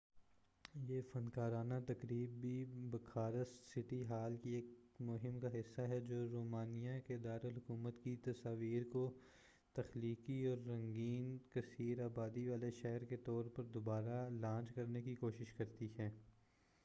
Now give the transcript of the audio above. یہ فنکارانہ تقریب بھی بخارسٹ سٹی ہال کی ایک مہم کا حصہ ہے جو رومانیہ کے دارالحکومت کی تصویر کو تخلیقی اور رنگین کثیر آبادی والے شہر کے طور پر دوبارہ لانچ کرنے کی کوشش کرتی ہے